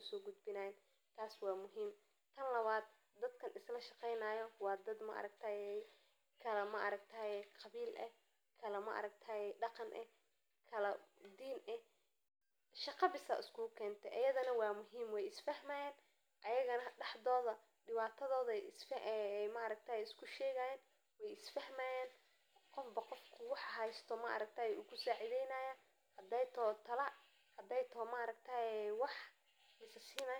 usogudbinayan taas wa mid. Tan lawad wa dad kalaqawil eeh oo kaladaqan eh oo kaladin eeh oo shaqo bees iskukente ayaga iskufahmeyse oo qofba qofba hadey toho tala iyo cawimad kale.